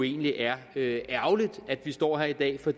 egentlig er ærgerligt at vi står her i dag for